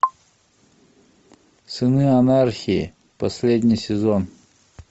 сыны анархии последний сезон